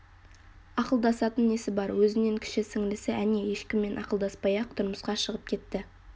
ақылдасатын несі бар өзінен кіші сіңілісі әне ешкіммен ақылдаспай-ақ тұрмысқа шығып кетті